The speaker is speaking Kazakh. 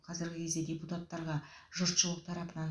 қазіргі кезде депутаттарға жұртшылық тарапынан